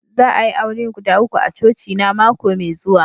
Za a'yi aure guda uku a coci na mako mai zuwa.